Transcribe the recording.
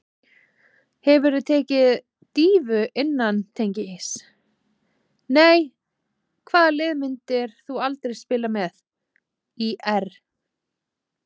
Hefurðu tekið dýfu innan teigs: Nei Hvaða liði myndir þú aldrei spila með: ÍR